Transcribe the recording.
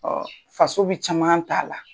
faso bɛ caman t'a la